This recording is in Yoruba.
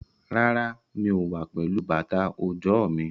Rárá, mi ò wá pẹ̀lú bàtà òjò mi.